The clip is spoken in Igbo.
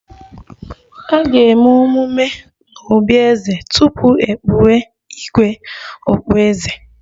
A ga-eme emume n'obí eze tupu e kpuwe 'igwe' okpueze